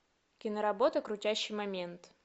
киноработа крутящий момент